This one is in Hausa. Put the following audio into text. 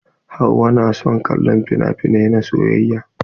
Hauwa na son kallon finafinai na soyayya.